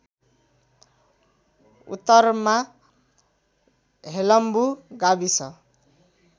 उत्तरमा हेलम्बु गाविस